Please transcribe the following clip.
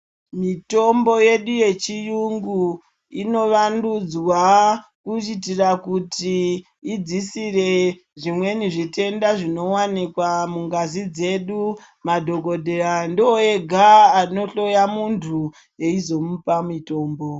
Mitombo yedu inovandudzwa kuitira kuti idzisire zvimweni zvitenda zvinowanikwa mungazi dzedu, madhokodheya ndiwo ega anohloya munhu eizomupa mutombo.